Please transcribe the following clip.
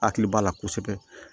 Hakili b'a la kosɛbɛ